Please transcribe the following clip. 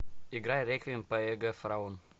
играй реквием по эго фараон